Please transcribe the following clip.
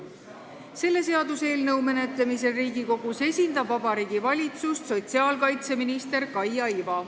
Selle seaduseelnõu menetlemisel Riigikogus esindab Vabariigi Valitsust sotsiaalkaitseminister Kaia Iva.